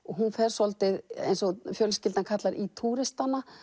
hún fer svolítið eins og fjölskyldan kallar í túristana